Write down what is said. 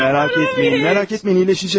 Maraq etməyin, maraq etməyin, iyiləşəcək.